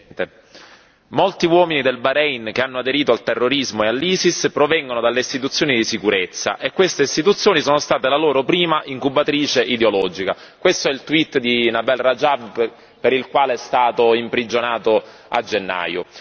Signor Presidente, onorevoli colleghi, molti uomini del Bahrein che hanno aderito al terrorismo e all'ISIS provengono dalle istituzioni di sicurezza e queste istituzioni sono state la loro prima incubatrice ideologica. Questo è il di Nabeel Rajad per il quale è stato imprigionato a gennaio.